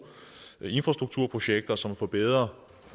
infrastrukturprojekter som forbedrer